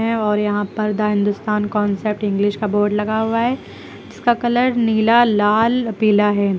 और यहां पर द हिंदुस्तान कॉन्सेप्ट इंग्लिश का बोर्ड लगा हुआ है उसका कलर नीला लाल पीला है।